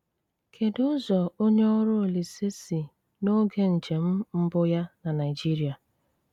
Kèdú ụzọ ònye ọrụ Olísè si n’ógè njem mbụ̀ yá ná Naijíríà?